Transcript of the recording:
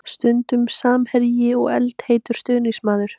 Stundum samherji og eldheitur stuðningsmaður.